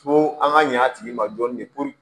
Fo an ka ɲɛ a tigi ma dɔɔnin de